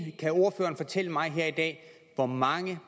kan ordføreren fortælle mig her i dag hvor mange